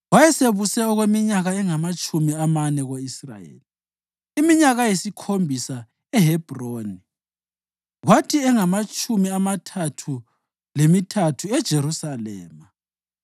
Wayesebuse okweminyaka engamatshumi amane ko-Israyeli, iminyaka eyisikhombisa eHebhroni kwathi engamatshumi amathathu lemithathu eJerusalema.